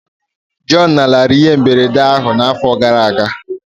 Joy lanarịrị ihe mberede ahụ n'afọ gara aga